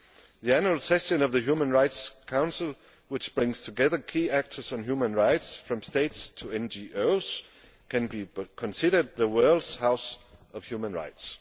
The annual session of the Human Rights Council, which brings together key actors on human rights from states to NGOs, can be considered the world's House of Human Rights.